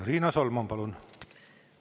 Riina Solman, palun!